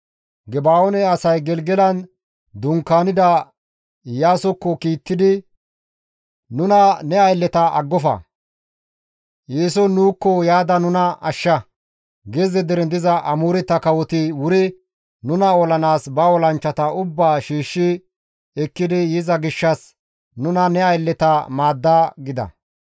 Geba7oone asay Gelgelan dunkaanida Iyaasokko kiittidi, «Nuna ne aylleta aggofa; eeson nuukko yaada nuna ashsha. Gezze deren diza Amooreta kawoti wuri nuna olanaas ba olanchchata ubbaa shiishshi ekkidi yiza gishshas nuna ne aylleta maadda» gida.